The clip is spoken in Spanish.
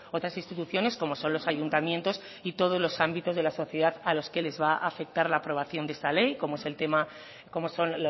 otras instituciones como son los ayuntamientos y todos los ámbitos de la sociedad a los que les va a afectar la aprobación de esta ley como es el tema como son